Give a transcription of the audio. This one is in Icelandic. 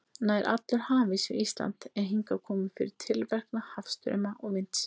Nær allur hafís við Ísland er hingað kominn fyrir tilverknað hafstrauma og vinds.